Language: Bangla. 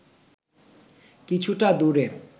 কিছুটা দূরে